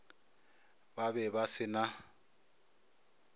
ba be ba se na